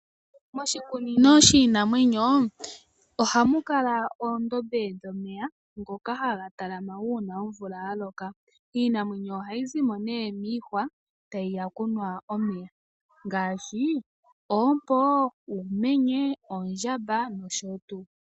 Moshikunino shiinamwenyo ohamu kala oondombe dhomeya ngoka haga talama uuna omvula yaloka, Iinamwenyo ohayi zimo nee miihwa tayi ya okunwa omeya ngaashi oompo, uumenye, oondjama noshotuu..